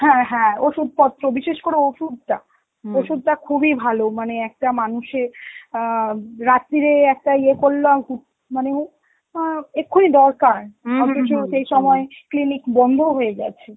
হ্যাঁ হ্যাঁ ওষুধপত্র, বিশেষ করে ওষুধটা ওষুধটা খুবই ভালো মানে একটা মানুষের আঁ রাত্তিরে একটা ইয়ে করলাম, মানে আঁ এক্ষুনি দরকার, সবকিছু সেই সময় clinic বন্ধও হয়ে গেছে.